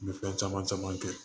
U bɛ fɛn caman caman kɛ